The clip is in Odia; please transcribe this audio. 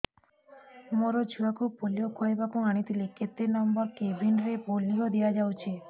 ମୋର ଛୁଆକୁ ପୋଲିଓ ଖୁଆଇବାକୁ ଆଣିଥିଲି କେତେ ନମ୍ବର କେବିନ ରେ ପୋଲିଓ ଦିଆଯାଉଛି